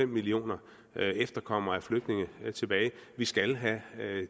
millioner efterkommere af flygtninge tilbage vi skal have